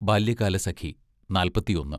Balyakalasakhi, നാൽപ്പത്തിഒന്ന്